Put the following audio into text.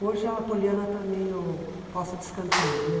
Hoje a Poliana está meio posta de escanteio, né?